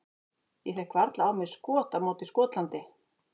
Ég fékk varla á mig skot á móti Skotlandi.